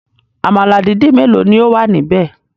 Àmàlà dídì mélòó ni ó wà níbẹ̀?